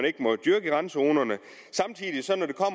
ikke må dyrkes i randzonerne